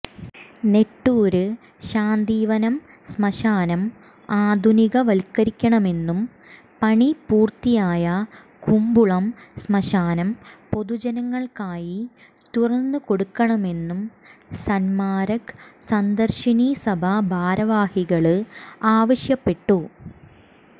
നെട്ടൂര് ശാന്തിവനം ശ്മശാനം ആധുനികവല്ക്കരിക്കണമെന്നും പണി പൂര്ത്തിയായ കുമ്പുളം ശ്മശാനം പൊതുജനങ്ങള്ക്കായി തുറന്നുകൊടുക്കണമെന്നും സന്മാര്ഗ സന്ദര്ശിനി സഭ ഭാരവാഹികള് ആവശ്യപ്പെട്ടു